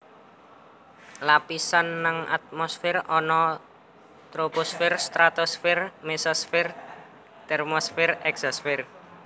Lapisan nang atmosfer ana Troposfer Stratosfer Mesosfer Termosfer Eksosfer